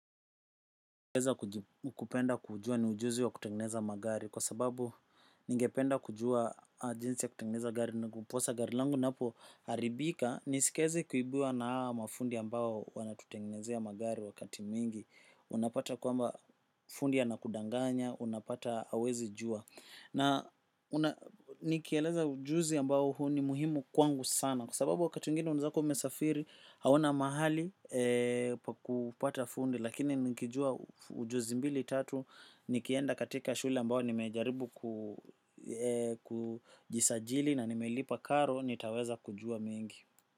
Ujuzi ningeeza kupenda kujua ni ujuzi wa kutengeneza magari. Kwa sababu, ningependa kujua jinsi ya kutengeneza gari ndiposa gari langu linapoharibika nisiweze kuibiwa na hawa mafundi ambao wanatutengenezea magari wakati mwingi. Unapata kwamba fundi anakudanganya, unapata hauwezi jua. Na nikieleza ujuzi ambao huu ni muhimu kwangu sana, kwa sababu wakati mwingine unaeza kuwa umesafiri, hauna mahali pa kupata fundi. Lakini nikijua ujuzi mbili tatu, nikienda katika shule ambayo nimejaribu ku kujisajili na nimelipa karo nitaweza kujua mingi.